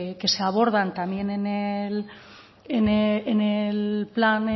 que se abordan también en el plan